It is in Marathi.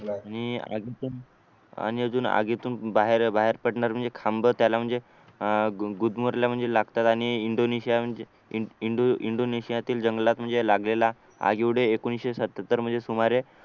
मी आधी पण अजून आगीतून बाहेर बाहेर पडणार म्हणजे खांब त्याला म्हणजे अह गुद मारल्या म्हणजे म्हणजे लागतात आणि इंडोनेशिया म्हणजे इंडोनेशियातील जंगलात म्हणजे लागलेला आग म्हणजे म्हणजे एकोणीशे सत्त्याहत्तर सुमारे